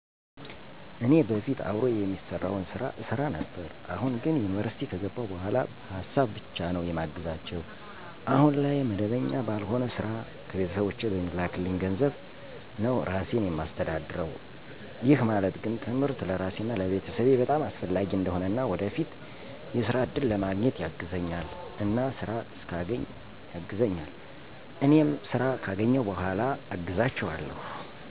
እኔ በፊት አብሮ የሚሰራውን ስራ እሠራ ነበር። አሁን ግን ዩኒቨርሲቲ ከገባሁ በኋላ በሀሳብ ብቻ ነው የማግዛቸው። አሁን ላይ መደበኛ ባልሆነ ስራ ከቤተሰቦቼ በሚላክኝ ገንዘብ ነው ራሴን የማስተዳደር። ይህ ማለት ግን ትምህርት ለራሴና ለቤተሰቤ በጣም አስፈላጊ እንደሆነና ወደፊት የስራ እድል ለማግኘት ያግዘኛል እና ስራ እስካገኝ ያግዘኛል እኔም እኔም ስራ ካገኘሁ በኋላ አግዛቸዋለሁ።